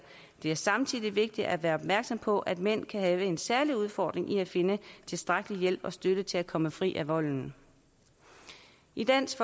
er samtidig vigtigt at være opmærksom på at mænd kan have en særlig udfordring i at finde tilstrækkelig hjælp og støtte til at komme fri af volden i dansk